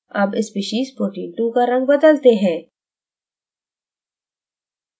अब species protein 2 का रंग बदलते हैं